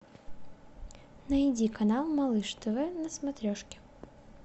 найди канал малыш тв на смотрешке